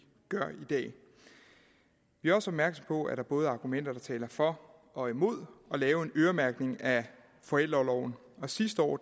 dag vi er også opmærksom på at der både er argumenter der taler for og imod at lave en øremærkning af forældreorloven og sidste år